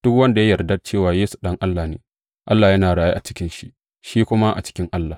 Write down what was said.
Duk wanda ya yarda cewa Yesu Ɗan Allah ne, Allah yana raye a cikinsa, shi kuma a cikin Allah.